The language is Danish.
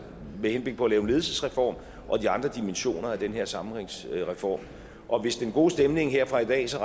med henblik på at lave en ledelsesreform og de andre dimensioner af den her sammenhængsreform og hvis den gode stemning her fra i dag så